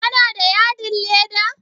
Kana da yadin leda?